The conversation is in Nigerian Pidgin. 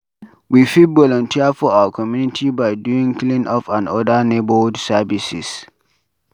We fit volunteer for our community by doing cleanup and oda neighbourhood Services